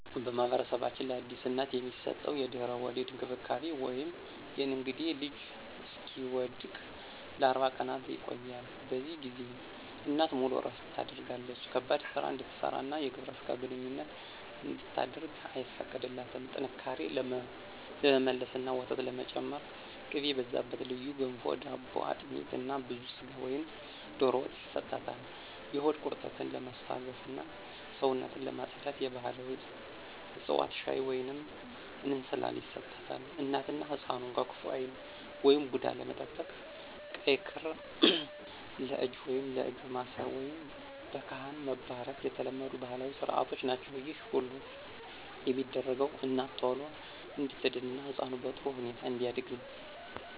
በማኅበረሰባችን ለአዲስ እናት የሚሰጠው የድህረ-ወሊድ እንክብካቤ (የእንግዴ ልጁ እስኪወድቅ) ለ40 ቀናት ይቆያል። በዚህ ጊዜ እናት ሙሉ እረፍት ታደርጋለች ከባድ ሥራ እንድትሠራና የግብረ ሥጋ ግንኙነት እንድታደርግ አይፈቀድላትም። ጥንካሬ ለመመለስና ወተት ለመጨመር ቅቤ የበዛበት ልዩ ገንፎ/ዳቦ፣ አጥሚት እና ብዙ ሥጋ ወይም ዶሮ ወጥ ይሰጣል። የሆድ ቁርጠትን ለማስታገስና ሰውነትን ለማፅዳት የባሕላዊ ዕፅዋት ሻይ ወይንም እንስላል ይሰጣታል። እናትና ሕፃኑን ከክፉ ዓይን (ቡዳ) ለመጠበቅ ቀይ ክር ለእጅ ወይም ለእግር ማሰር፣ ወይም በካህን መባረክ የተለመዱ ባሕላዊ ሥርዓቶች ናቸው። ይህ ሁሉ የሚደረገው እናት ቶሎ እንድትድንና ሕፃኑ በጥሩ ሁኔታ እንዲያድግ ነው።